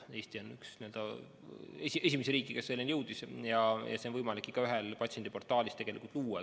Eesti on üks esimesi riike, kes selleni jõudis, see on võimalik igaühel patsiendiportaalis luua.